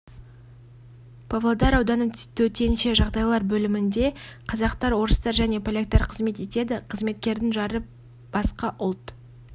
павлодар ауданы төтенше жағдайлар бөлімінде де қазақтар орыстар және поляктар қызмет етеді қызметкердің жары басқа ұлт